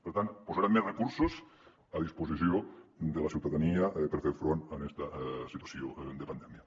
per tant posarem més recursos a disposició de la ciutadania per fer front a esta situació de pandèmia